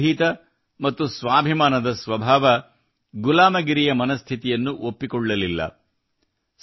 ಅವರ ನಿರ್ಭೀತ ಮತ್ತು ಸ್ವಾಭಿಮಾನದ ಸ್ವಭಾವವು ಗುಲಾಮಗಿರಿಯ ಮನಸ್ಥಿತಿಯನ್ನು ಒಪ್ಪಿಕೊಳ್ಳಲಿಲ್ಲ